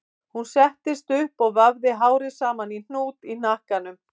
Hún settist upp og vafði hárið saman í hnút í hnakkanum